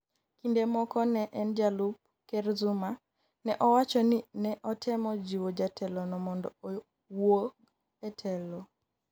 kinde moko ne en jalup ker Zuma, ne owacho ni ne otemo jiwo jatelo no mondo owuog e telo